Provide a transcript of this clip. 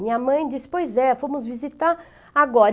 Minha mãe disse, pois é, fomos visitar agora.